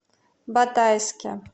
батайске